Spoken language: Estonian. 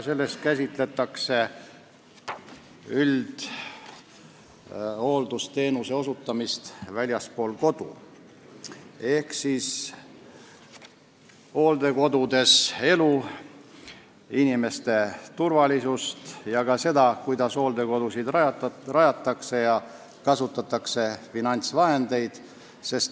Selles käsitletakse üldhooldusteenuse osutamist väljaspool kodu ehk elu hooldekodudes, inimeste turvalisust ning ka seda, kuidas hooldekodusid rajatakse ja kuidas kasutatakse finantsvahendeid.